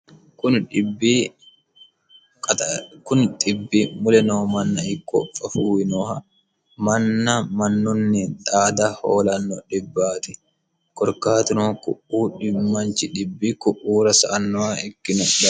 kuni xibbi mule noo manna ikko fafuuwi nooha manna mannunni xaada hoolanno dhibbaati korkaatino ku'u manchi xibbi sa'annoha ikkino daafiraati